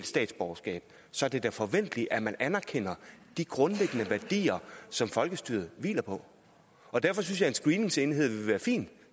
statsborgerskab så er det da forventeligt at man anerkender de grundlæggende værdier som folkestyret hviler på og derfor synes jeg en screeningsenhed ville være fint og